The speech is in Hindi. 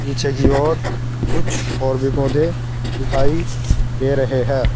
पीछे की ओर कुछ और भी पौधे दिखाई दे रहे हैं।